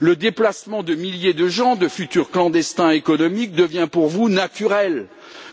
Le déplacement de milliers de gens de futurs clandestins économiques devient pour vous naturel,